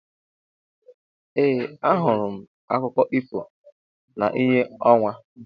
Ee ahụrụ m akụkọ ifo na ìhè ọnwa.